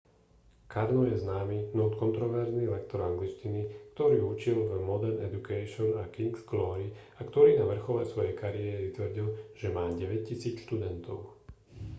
karno je známy no kontroverzný lektor angličtiny ktorý učil v modern education a king's glory a ktorý na vrchole svojej kariéry tvrdil že má 9000 študentov